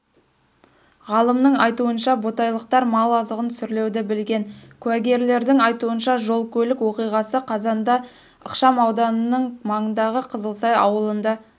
ғалымның айтуынша ботайлықтар мал азығын сүрлеуді білген куәгерлердің айтуынша жол-көлік оқиғасы қазанда ықшамауданының маңындағы қызылсай ауылында